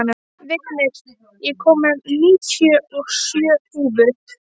Vignir, ég kom með níutíu og sjö húfur!